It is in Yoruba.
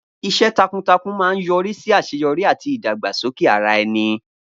Iṣẹ́ takuntakun máa ń yọrí sí àṣeyọrí àti ìdàgbàsókè ara ẹni.